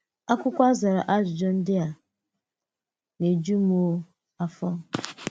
Akwụkwọ a zàrà ajụjụ ndị a na-ejù um afọ.